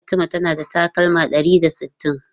Fatima tana da takalma ɗari da sittin.